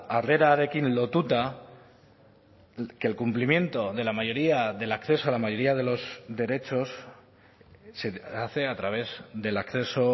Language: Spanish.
harrerarekin lotuta que el cumplimiento de la mayoría del acceso a la mayoría de los derechos se hace a través del acceso